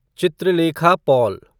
Chitralekha Paul